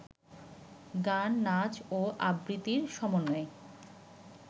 গান, নাচ ও আবৃত্তির সমন্বয়ে